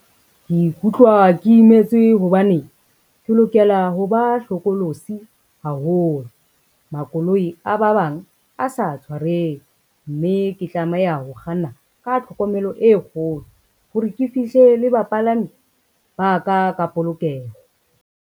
Ke ikutlwa ke imetswe hobane, ke lokela ho ba hlokolosi haholo. Makoloi a ba bang a sa tshwareng, mme ke tlameha ho kganna ka tlhokomelo e kgolo hore ke fihle le bapalami ba ka ka polokeho.